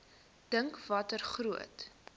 dink watter groot